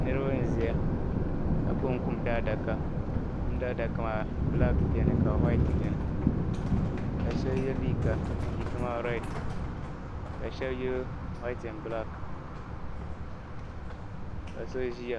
Niriba n-ʒiya ka gbubi kum daa adaka kum daa adaka ma "black" beni ka "white" beni ka shɛli ye liiga liiga maa "red" ka sheli ye "white and black" ka so ʒiya.